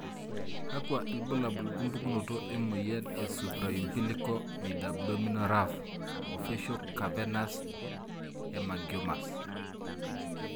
Kakwa ilbulabul opukunoto emoyian e Supraumbilical midabdominal raphe o facial cavernous hemangiomas?